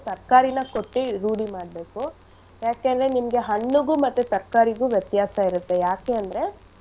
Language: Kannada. ತರ್ಕಾರಿನ ಕೊಟ್ಟಿ ರೂಢಿ ಮಾಡ್ಬೇಕು ಯಾಕೆಂದ್ರೆ ನಿಮ್ಗೆ ಹಣ್ಣಿಗು ಮತ್ತೆ ತರ್ಕಾರಿಗು ವ್ಯತ್ಯಾಸ ಇರತ್ತೆ ಯಾಕಂದ್ರೆ.